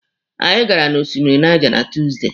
Anyị gara na osimiri Niger na Tuusdey.